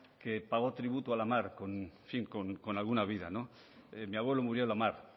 que pagó tributo a la mar con alguna vida no mi abuelo murió en la mar